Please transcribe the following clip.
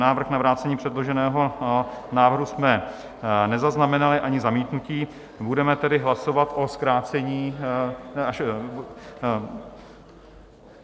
Návrh na vrácení předloženého návrhu jsme nezaznamenali, ani zamítnutí, budeme tedy hlasovat o zkrácení.